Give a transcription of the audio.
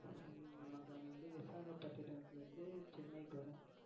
உம் நமக்கு அங்கேயிருந்து விசாகபட்டினத்தில இருந்து சென்னைக்கு வரும்.